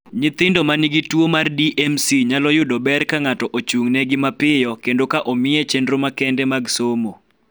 Nyithindo ma nigi tuo mar DMC nyalo yudo ber ka ng�ato ochung�negi mapiyo kendo ka omiye chenro makende mag somo.